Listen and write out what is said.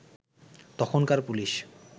তখনকার পুলিশ